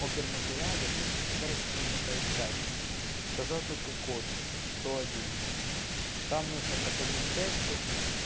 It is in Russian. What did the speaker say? опер материале ну короче нужно поискать сказал только код сто один там нужно проходить тесты